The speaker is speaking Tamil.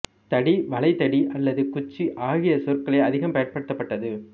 தடி வளைதடி அல்லது குச்சி ஆகிய சொற்களே அதிகம் பயன்படுத்தப்பட்டது